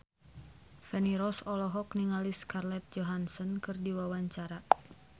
Feni Rose olohok ningali Scarlett Johansson keur diwawancara